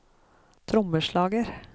trommeslager